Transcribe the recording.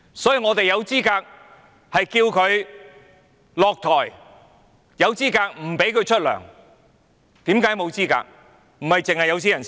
所以，我們有資格要求她下台、有資格不允許她支薪，為何沒有資格？